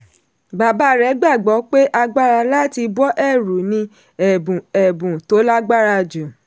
bàbá rẹ̀ gbàgbọ́ pé agbára láti bọ́ ẹ̀rù ni ẹ̀bùn ẹ̀bùn tó lágbára jù.